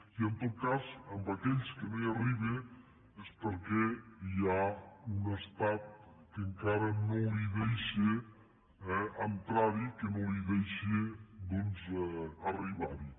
i en tot cas en aquells que no hi arriba és perquè hi ha un estat que encara no li deixa eh entrarhi que no li deixa doncs arribarhi